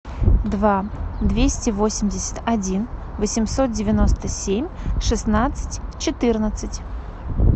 два двести восемьдесят один восемьсот девяносто семь шестнадцать четырнадцать